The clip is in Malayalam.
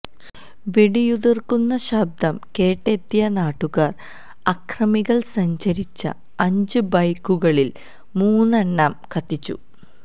വെടിയുതിര്ക്കുന്ന ശബ്ദം കേട്ടെത്തിയ നാട്ടുകാര് അക്രമികള് സഞ്ചരിച്ച അഞ്ച് ബൈക്കുകളില് മൂന്നെണ്ണം കത്തിച്ചു